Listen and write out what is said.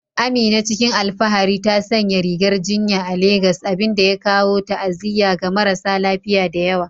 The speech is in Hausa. Amina, cikin alfahari ta sanya rigar jinya a Legas, abin da ya kawo ta'aziyya ga marasa lafiya da yawa.